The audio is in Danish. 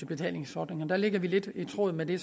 betalingsordninger der ligger vi lidt i tråd med de